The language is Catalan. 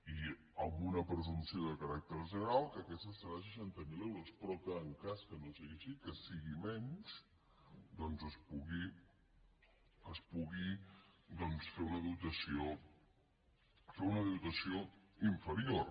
i amb una presumpció de caràcter general que aquesta serà de seixanta mil euros però que en cas que no sigui així que sigui menys doncs que es pugui es pugui doncs fer una dotació fer una dotació inferior